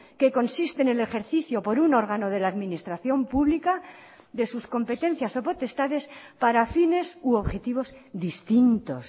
que consiste en el ejercicio por un órgano de la administración pública de sus competencias o potestades para fines u objetivos distintos